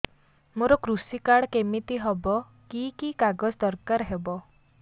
ମୋର କୃଷି କାର୍ଡ କିମିତି ହବ କି କି କାଗଜ ଦରକାର ହବ